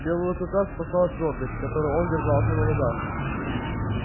белого клыка спасала твёрдость с которой он держался на ногах